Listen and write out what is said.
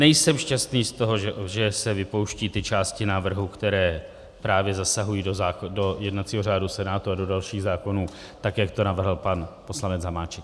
Nejsem šťastný z toho, že se vypouštějí ty části návrhu, které právě zasahují do jednacího řádu Senátu a do dalších zákonů, tak jak to navrhl pan poslanec Hamáček.